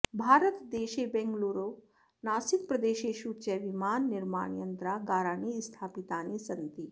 भारतदेशे बेङ्गलूरु नासिक प्रदेशेषु च विमाननिर्माणयन्त्रागाराणि स्थापितानि सन्ति